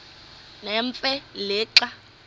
nemfe le xa